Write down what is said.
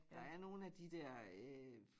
Der er nogen af de dér øh